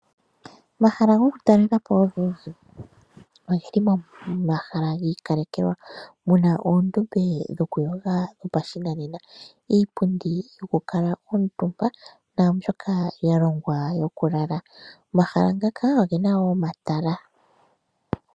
Omahala gokutalela po ogendji oge li moomahala gi ikalekelwa mu na oondombe dhokuyoga dhopashinanena, iipundi yokukuutumba naa mbyoka ya longwa yokulala. Omahala ngaka oge na wo omatala.